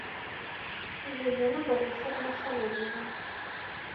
елена борисовна савельева